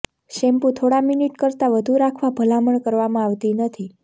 shampoo થોડા minute કરતાં વધુ રાખવા ભલામણ કરવામાં આવતી નથી